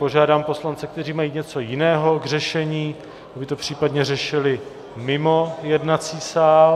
Požádám poslance, kteří mají něco jiného k řešení, aby to případně řešili mimo jednací sál.